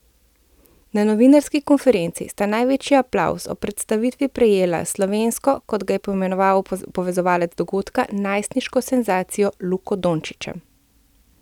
Na novinarski konferenci sta največji aplavz ob predstavitvi prejela s slovensko, kot ga je poimenoval povezovalec dogodka, najstniško senzacijo, Luko Dončićem.